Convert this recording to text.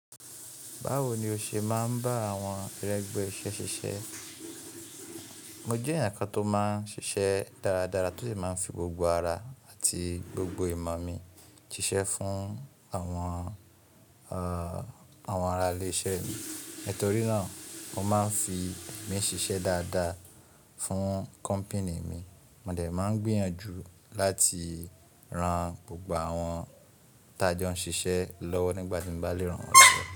Báwo ni o ṣe máa ń bá àwọn irẹ́gbẹ́ iṣẹ́ ṣiṣẹ́? Mo jẹ́ ẹyan kan tó máa ń ṣiṣẹ́ dáradára, tó sì máa ń fi gbogbo ara àti gbogbo ìmọ̀ mi ṣiṣẹ́ fún àwọn, àwọn arálè iṣẹ́ mi. Nítorí náà mo máa ń fi mí ṣiṣẹ́ dáadáa fún kọ́pìní mi. Mo dẹ̀ máa ń gbìyànjú láti ran gbogbo àwọn t'a jọ ń ṣiṣẹ́ lọ́wọ́ nígbà tí mo bá lè ràn wọn lọ́wọ́